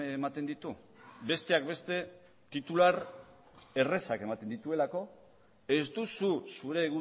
ematen ditu besteak beste titular errazak ematen dituelako ez duzu zure